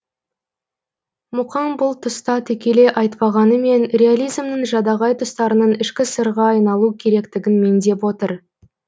мұқаң бұл тұста тікелей айтпағанымен реализмнің жадағай тұстарының ішкі сырға айналу керектігін меңзеп отыр